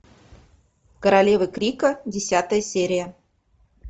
королева крика десятая серия